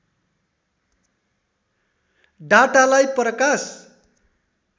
डाटालाई प्रकाश